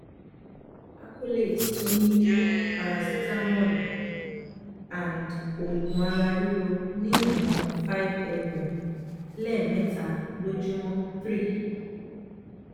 acolate tó ní parasitamọ́òlù & òògùn ara ríro ní ìwọ̀n five ml lẹ́ẹ̀mẹta lójúmọ́ three